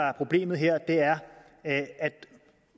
er problemet er at